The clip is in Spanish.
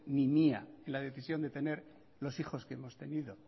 ni mía en la decisión de tener los hijos que hemos tenido